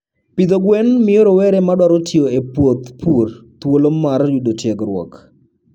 Pidho gwen miyo rowere madwaro tiyo e puoth pur thuolo mar yudo tiegruok.